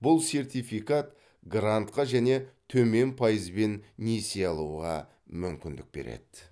бұл сертификат грантқа және төмен пайызбен несие алуға мүмкіндік береді